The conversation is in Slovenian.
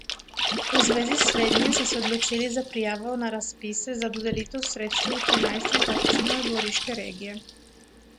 V zvezi s slednjim so se odločili za prijavo na razpise za dodelitev sredstev v trinajstih občinah Goriške regije.